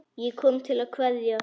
Ég kom til að kveðja.